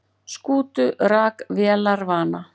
Skútu rak vélarvana